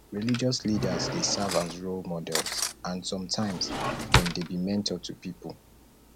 religious leaders dey serve as role models and sometimes dem dey be mentor to pipo